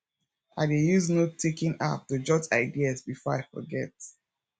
i dey use note taking app to jot ideas before i forget